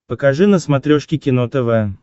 покажи на смотрешке кино тв